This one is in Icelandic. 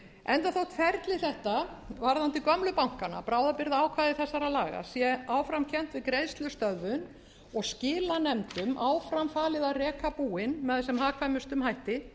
enda þótt ferli þetta varðandi gömlu bankana bráðabirgðaákvæði þessara laga sé áfram kennt við greiðslustöðvun og skilanefndum áfram falið að reka búin með sem hagkvæmustum hætti